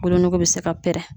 Woolonɔgɔ bɛ se ka pɛrɛn.